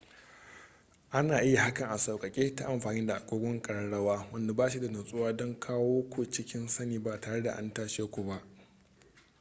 ana iya yin hakan a sauƙaƙe ta amfani da agogon ƙararrawa wanda ba shi da nutsuwa don kawo ku cikin sani ba tare da an tashe ku ba